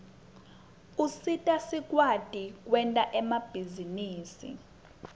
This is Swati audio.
usita sikwati kwenta emabhizinisi